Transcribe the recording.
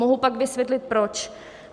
Mohu pak vysvětlit proč.